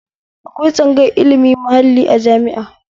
Akwai tsangayar ilimin mahalli a jami'a